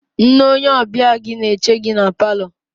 Nne, onye ọbịa gị na-eche gị na paalọ.